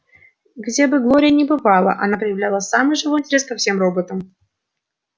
где бы глория ни бывала она проявляла самый живой интерес ко всем роботам